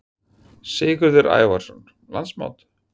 Sigurður Ævarsson: Landsmót?